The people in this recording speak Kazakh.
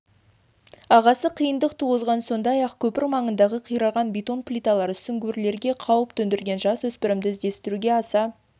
ағысы қиындық туғызған сондай-ақ көпір маңындағы қираған бетон плиталары сүңгуірлерге қауіп төндірген жасөспірімді іздестіруге аса